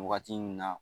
Wagati min na